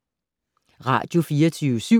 Radio24syv